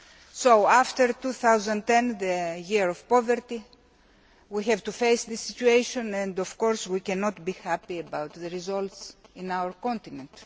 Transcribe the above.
So after 2010, the Year of Poverty, we have to face the situation, and we cannot be happy about the results on our continent.